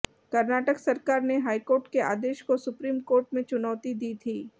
कर्नाटक सरकार ने हाईकोर्ट के आदेश को सुप्रीम कोर्ट में चुनौती दी थी